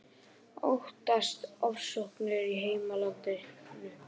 Óttast ofsóknir í heimalandinu